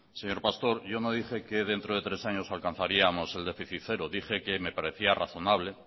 señor pastor yo no dije que dentro de tres años alcanzaríamos el déficit cero dije que me parecía razonable